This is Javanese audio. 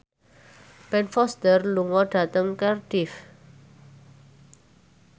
Ben Foster lunga dhateng Cardiff